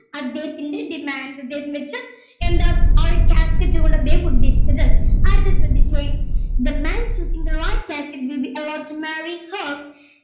അദ്ദേഹത്തിന്റെ demand അദ്ദേഹത്തിന്റെ എന്ന് വച്ച എന്താ ആ ഒരു cascade കൊണ്ട് അദ്ദേഹം ഉദ്ദേശിച്ചത് അടുത്ത ശ്രദ്ധിച്ചേ the man choosing the right cascade will be allowed to marry her